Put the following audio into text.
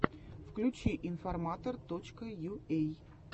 включи информатор точка юэй